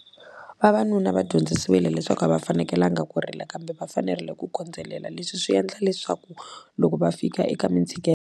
Vavanuna va dyondzisiwile leswaku a va fanekelanga ku rila kambe va fanerile ku kondzelela leswi swi endla leswaku loko va fika eka .